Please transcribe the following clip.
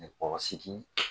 Nɛgɛkɔrɔsigi.